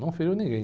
Não feriu ninguém.